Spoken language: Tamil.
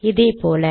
இதே போல